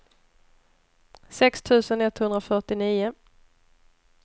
sex tusen etthundrafyrtionio